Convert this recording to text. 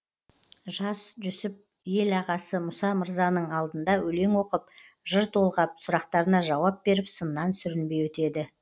жас жүсіп ел ағасы мұса мырзаның алдына өлең оқып жыр толғап сұрақтарына жауап беріп сыннан сүрінбей өтеді